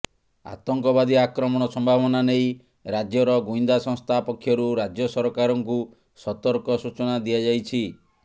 ଆତଙ୍କବାଦୀ ଆକ୍ରମଣ ସମ୍ଭାବନା ନେଇ ରାଜ୍ୟର ଗୁଇନ୍ଦା ସଂସ୍ଥା ପକ୍ଷରୁ ରାଜ୍ୟ ସରକାରଙ୍କୁ ସତର୍କ ସୂଚନା ଦିଆଯାଇଛି